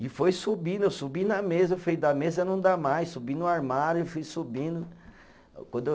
E foi subindo, eu subi na mesa, eu falei, da mesa não dá mais, subi no armário, fui subindo, quando eu